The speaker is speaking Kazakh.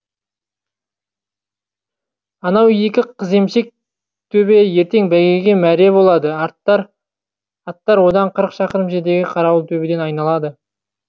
анау екі қыземшек төбе ертең бәйгеге мәре болады аттар одан қырық шақырым жердегі қарауыл төбеден айналады